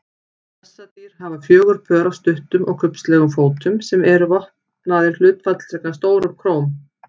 Bessadýr hafa fjögur pör af stuttum og kubbslegum fótum sem eru vopnaðir hlutfallslega stórum klóm.